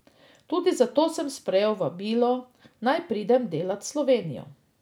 Tudi zato sem sprejel vabilo, naj pridem delat v Slovenijo.